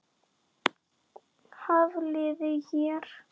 Hafliði hér.